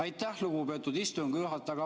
Aitäh, lugupeetud istungi juhataja!